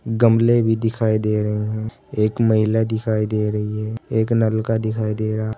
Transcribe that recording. गमले भी दिखाई दे रहे हैं एक महिला दिखाई दे रही है एक नलका दिखाई दे रहा--